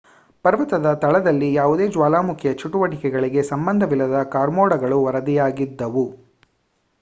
ಪರ್ವತದ ತಳದಲ್ಲಿ ಯಾವುದೇ ಜ್ವಾಲಾಮುಖಿಯ ಚಟುವಟಿಕೆಗಳಿಗೆ ಸಂಬಂಧವಿಲ್ಲದ ಕಾರ್ಮೋಡಗಳು ವರದಿಯಾಗಿದ್ದವು